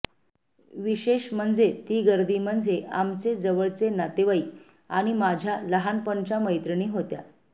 विशेष म्हणजे ती गर्दी म्हणजे आमचे जवळचे नातेवाईक आणि माझ्या लहानपणच्या मैत्रिणी होत्या